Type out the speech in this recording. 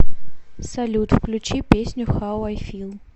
салют включи песню хау ай фил